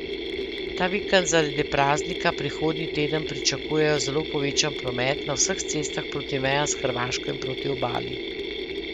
Ta vikend zaradi praznika prihodnji teden pričakujejo zelo povečan promet na vseh cestah proti mejam s Hrvaško in proti obali.